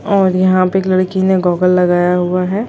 --और यहाँ पे एक लड़की ने गॉगल लगाया हुआ है।